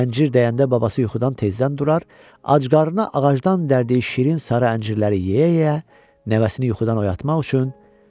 Əncir dəyəndə babası yuxudan tezdən durar, acqarına ağacdan dərdiyi şirin sarı əncirləri yeyə-yeyə, nəvəsini yuxudan oyatmaq üçün